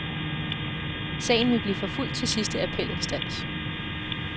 Sagen vil blive forfulgt til sidste appelinstans.